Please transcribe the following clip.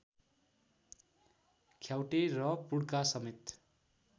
ख्याउटे र पुड्कासमेत